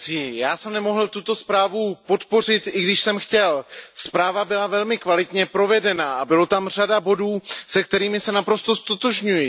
Pane předsedající, já jsem nemohl tuto zprávu podpořit, i když jsem chtěl. Zpráva byla velmi kvalitně provedená a byla tam řada bodů, se kterými se naprosto ztotožňuji.